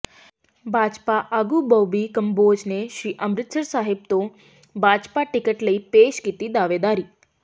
ਭਾਜਪਾ ਆਗੂ ਬੌਬੀ ਕੰਬੋਜ ਨੇ ਸ੍ਰੀ ਅੰਮ੍ਰਿਤਸਰ ਸਾਹਿਬ ਤੋਂ ਭਾਜਪਾ ਟਿਕਟ ਲਈ ਪੇਸ਼ ਕੀਤੀ ਦਾਅਵੇਦਾਰੀ